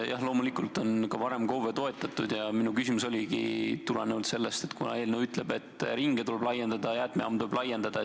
Jah, loomulikult on ka varem KOV-e toetatud ja minu küsimus tuleneski sellest, et eelnõu ütleb, et ringe tuleb laiendada, jäätmejaamu tuleb laiendada.